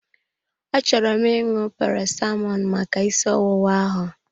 Achọrọ m ịṅụ Paracetamọl maka ịsị ọwụwa ahụ.